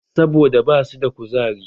Saboda ba su da kuzari